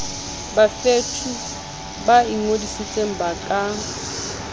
bavouti ba ingodisang ba ka